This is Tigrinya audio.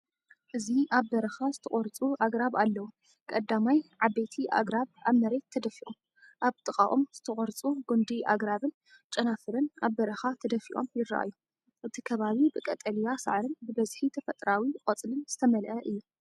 እዚ ኣብ በረኻ ዝተቖርጹ ኣግራብ ኣለዉ። ቀዳማይ፡ ዓበይቲ ኣግራብ ኣብ መሬት ተደፊኦም፡ ኣብ ጥቓኦም ዝተቖርጹ ጕንዲ ኣግራብን ጨናፍርን ኣብ በረኻ ተደፊኦም ይረኣዩ። እቲ ከባቢ ብቀጠልያ ሳዕርን ብብዝሒ ተፈጥሮኣዊ ቆጽልን ዝተመልአ እዩ።